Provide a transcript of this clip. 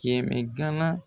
Kɛmɛ ganan